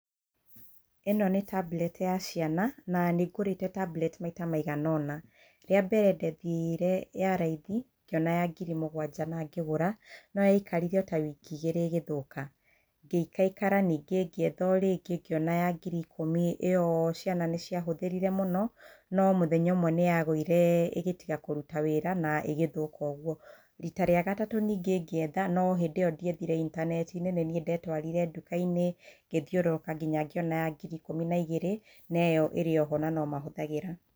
ĩno nĩ tablet ya ciana na nĩngũrĩte tablet maita maiganona rĩambere ndethire ya raithi ngĩona ya ngiri mũgwanja na ngĩgũra no yaikarire ota wiki igĩrĩ ĩgĩthũka ngĩikaikara ningĩ ngĩetha orĩngi ngĩona ya ngiri ikũmi ĩyo ciana nĩciahũthĩrire mũno no mũthenya ũmwe nĩyagũire ĩkĩaga kũruta wĩra na ĩgĩthũka ũguo ,rita rĩa gatatũ ningĩ ngĩetha no hĩndĩ ĩyo ndiethire intaneti-inĩ nĩ niĩ ndetwarire nduka-inĩ ngĩthiũrũka nginya ngĩona ya ngiri ikumi na igĩri noĩyo ĩrĩ oho nomahũthagĩra.